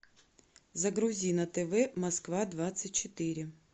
загрузи на тв москва двадцать четыре